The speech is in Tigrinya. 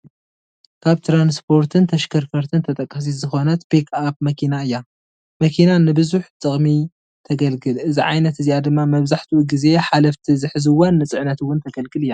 ካብ ትራንስፖርትን ተሽከርከርትን ተጠቃሲት ዝኾነት ፒክ ኣኘ መኪና እያ፡፡ መኪና ንዝብዙሕ ጥቕሚ ተገልግል፡፡ እዛ ዓይነት እዚኣ ድማ መብዛሕትኡ ጊዜ ሓለፍቲ ዝሕዝዋን ንፅዕነት ውን ተገልግል እያ፡፡